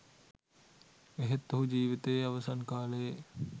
එහෙත් ඔහු ජිවිතයේ අවසන් කාලයේ